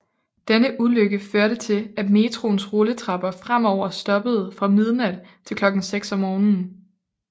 Denne ulykke førte til at metroens rulletrapper fremover stoppede fra midnat til klokken 6 om morgenen